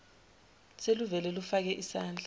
seluvele lufake isandla